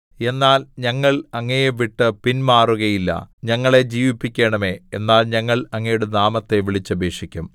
എന്നാൽ ഞങ്ങൾ അങ്ങയെ വിട്ടു പിന്മാറുകയില്ല ഞങ്ങളെ ജീവിപ്പിക്കണമേ എന്നാൽ ഞങ്ങൾ അങ്ങയുടെ നാമത്തെ വിളിച്ചപേക്ഷിക്കും